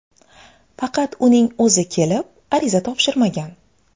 Faqat uning o‘zi kelib ariza topshirmagan.